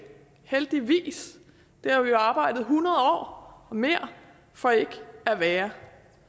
heldigvis det har vi jo arbejdet i hundrede år og mere for ikke at være